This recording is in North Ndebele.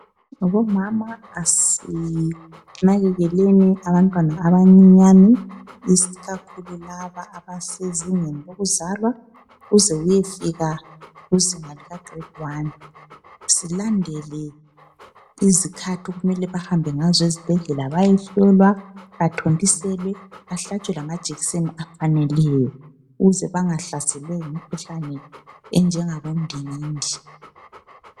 Omama asinakekeleni abantwana abancinyane ikakhulu laba abasezingeni lokuzalwa kuze kuyefika izinga likagrade wani. Silandele izikhathi okumele bahambe ngazo ezibhedlela bayehlolwa, bathontiselwe bahlatshwe, amajekiseni afaneleyo ukuze bangahlaselwa yimikhuhlane enjengabondingindi.